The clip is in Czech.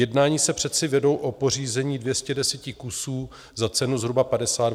Jednání se přece vedou o pořízení 210 kusů za cenu zhruba 52 miliard.